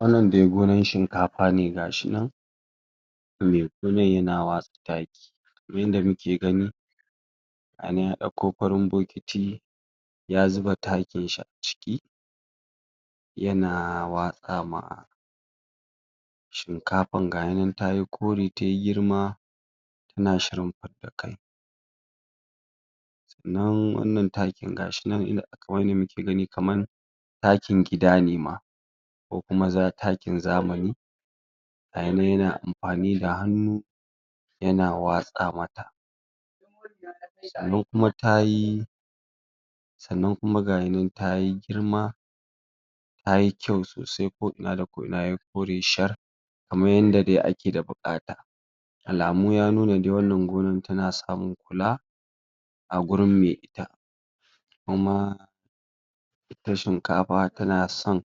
Wannan dai gona shikanfa ne. Gashi nan me gonan ya na watsa taki kaman yadda muke gani ana ya ɗako farin bokiti ya zuba takin shi a ciki ya na watsa ma shikafan. Gahi nan tayi kore, tayi girma ana shirin fida kai. Nan wannan taki gashi nan inda aka gani kaman dakin gida ne ma ko kuma za takin zamani gai nan ya na anfani da hannu ya na watsa mata. Sannan kuma tayi sannan kuma gahi nan tayi girma tayi ƙyau sosai, ko ina da ko ina yayi kore shar kaman yadda dai ake da buƙata. Alamu ya nuna dai wanna gona ta na samun kula a gurin mai ita. Amma ita shinkafa ta na son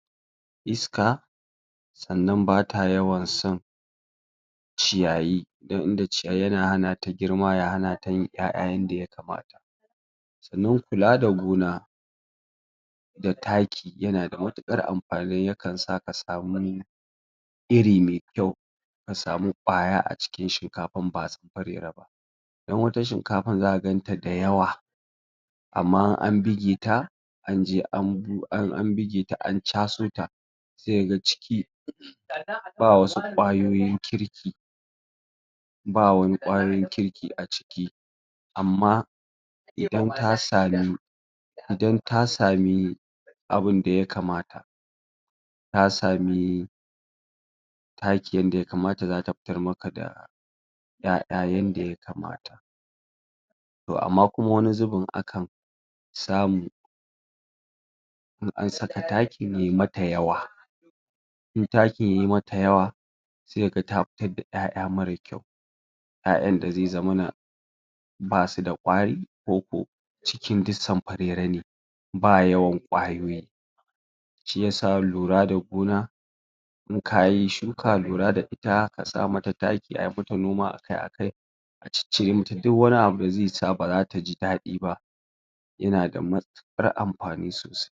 iska, sannan bata yawan san ciyayi dan inda ciyayi ya na hanata girma ya hanata yin ƴaƴa yanda yakamata. Sannan kula da gona da taki ya na da matukar anfani, yakan sa ka samu iri mai ƙyau, a samu ƙwaya a cikin shinkafan ba dan wata shinkafa za ka ganta da yawwa amma in an bige ta anje an bu an buge ta an caso ta sai ga ciki ba wasu ƙwayoyin kirki, ba wani ƙwarin kirkia ciki. Amma idan ta sami idan ta sami abin da ya kamta, ta sami taki yadda ya kamata ,za ta fitar maka da ƴaƴa yanda ya kamata. To amma wani zubin akan samu in an saka takin ya mata yawwa, in takin ya mata yawwa sai kaga ta fitar da ƴaƴa mara ƙyau, ƴaƴan da zai zamana ba su da kwari ko ko cikin duk ba yawwan ƙwayoyi. Shiyasa lura da gona in kayi shuka lura da ita a sa mata taki, a mata noma a kai a kai, cicire mata duk wani abu da zai sa baza ta ji daɗi ba ya na da matukar anfani sosai.